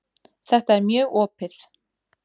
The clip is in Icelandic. Þetta er mjög opið.